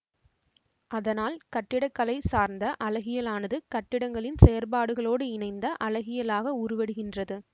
அதனால் கட்டிடக்கலை சார்ந்த அழகியலானது கட்டிடங்களின் செயற்பாடுகளோடு இணைந்த அழகியலாக உருவெடுக்கின்றது